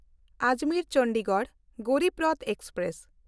Ajmer-Chandigarh Garib Rath express